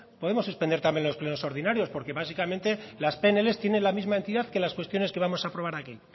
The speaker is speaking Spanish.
podemos suspender también los plenos ordinarios porque básicamente las pnl tienen la misma entidad que las cuestiones que vamos a aprobar aquí